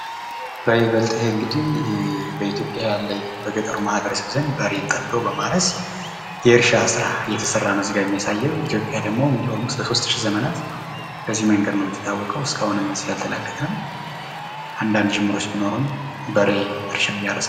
በይበልጥ ይሄ እንግዲ በኢትዮጵያ ያለ በገጠሩ ማህበረሰብ ዘንድ በሬን ጠምዶ በማረስ የእርሻ ስራ እየተሰራ ነው እዚጋ የሚያሳው። ኢትዮጵያ ደግሞ ለ 3000 ዘመን በዚ መንገድ ነው የምተታወቀው ፤ እስካሁንም ከዚ አልተላቀቅንም። አንዳንድ ጅምሮች ቢኖሩም በሬ እራሻን እንዲያርስ